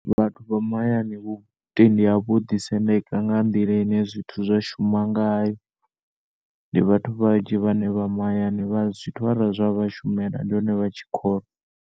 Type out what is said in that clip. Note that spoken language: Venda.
Vhathu vha mahayani vhutendi havho vhoḓi sendeka nga nḓila ine zwithu zwa shuma ngayo. Ndi vhathu vhanzhi vhane vha mahayani vha zwithu ara zwa vha shumela ndi hone vha tshi kholwa.